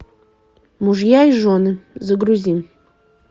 мужья и жены загрузи